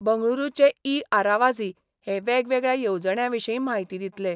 बंगळूरूचे E Aravazhi हे वेगवेगळ्या येवजण्यां विशीं माहिती दितले.